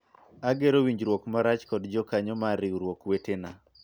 agero winjruok malach kod jokanyo mar riwruok wetena